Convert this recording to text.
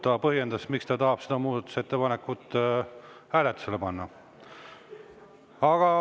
Ta põhjendas, miks ta tahab seda muudatusettepanekut hääletusele panna.